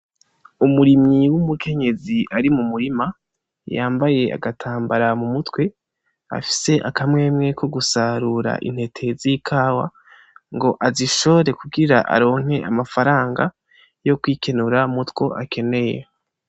Umurimyi w'umukenyezi ari mu murima yambaye agatambara mu mutwe afise akamwemwe ko gusarura intete z'ikawa ngo azishore kugira aronke amafaranga yo kwikenura mutwo akeneye.